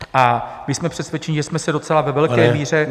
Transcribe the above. A my jsme přesvědčeni, že jsme se docela ve velké míře -